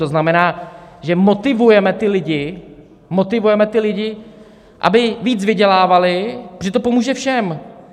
To znamená, že motivuje ty lidi, motivujeme ty lidi, aby víc vydělávali, protože to pomůže všem.